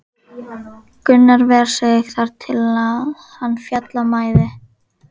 Gunnar ver sig þar til er hann féll af mæði.